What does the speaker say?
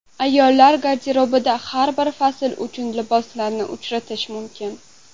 Ayollar garderobida har bir fasl uchun liboslarni uchratish mumkin.